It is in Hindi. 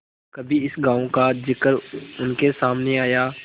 कभी इस गॉँव का जिक्र उनके सामने आया